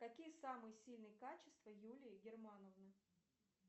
какие самые сильные качества юлии германовны